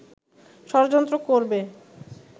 ষড়যন্ত্র করবে